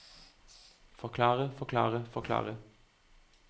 forklare forklare forklare